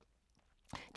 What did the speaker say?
DR K